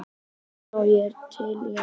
Já, ég er til í allt